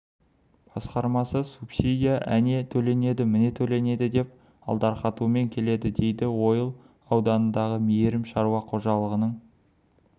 басқармасы субсидия әне төленеді міне төленеді деп алдарқатумен келеді дейді ойыл ауданындағы мейірім шаруа қожалығының